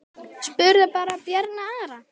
Spurðu bara Bjarna Ara!